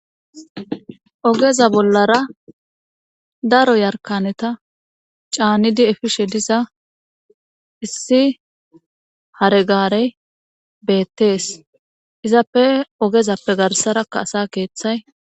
Ogeza bollara daro yarkaneta caanidi efishe diza issi haregarey beettees izappe ogezappe garsarakka asa keeththay.